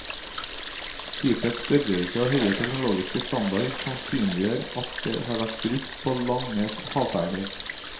Skipets størrelse og høye teknologiske standard sannsynliggjør at det har vært brukt på lange havferder.